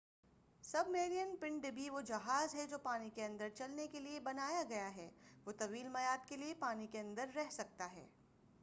سب marine پن ڈبی وہ جہاز ہے جو پانی کے اندر چلنے کے لئے بنایا گیا ہے۔ وہ طویل میعاد کے لئے پانی کے اندر رہ سکتا ہے۔